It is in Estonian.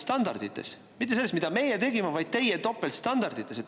mitte selles, mida meie tegime, vaid teie topeltstandardites.